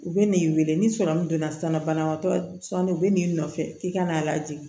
U bɛ n'i weele ni sɔrɔmu donna sisan banabaatɔ sɔnni u bɛ n'i nɔfɛ k'i ka n'a lajigin